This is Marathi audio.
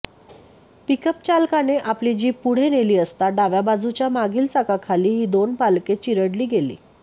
पिकअपचालकाने आपली जीप पुढे नेली असता डाव्या बाजूच्या मागील चाकाखाली ही दोन बालके चिरडली गेली